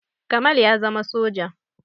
Kamal ya zama soja